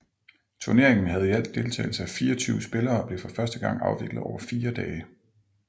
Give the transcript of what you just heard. Turneringen havde i alt deltagelse af 24 spillere og blev for første gang afviklet over fire dage